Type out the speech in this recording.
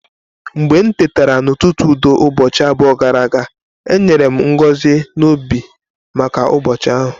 Mgbe m tetara n'ụtụtụ udo ụbọchị abụọ gara aga, e nyere m ngọzi n'obi maka ụbọchị ahụ.